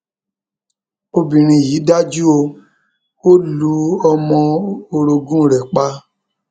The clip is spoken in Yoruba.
obìnrin yìí dájú o ò lu ọmọ orogún rẹ pa